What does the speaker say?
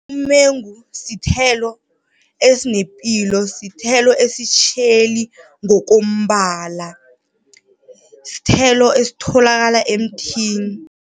Umengu sithelo esinepilo, sithelo esitjheli ngokombala. Sithelo esitholakala emthini.